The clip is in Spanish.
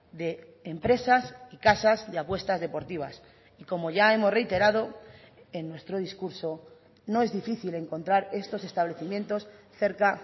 de empresas y casas de apuestas deportivas y como ya hemos reiterado en nuestro discurso no es difícil encontrar estos establecimientos cerca